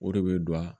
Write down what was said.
O de bɛ don a